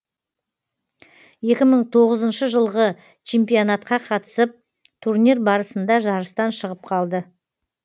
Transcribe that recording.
екі мың тоғызыншы жылғы чемпионатқа қатысып турнир барысында жарыстан шығып қалды